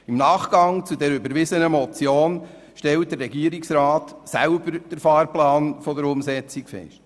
Im Nachgang zu dieser überwiesenen Motion legte der Regierungsrat den Fahrplan der Umsetzung fest.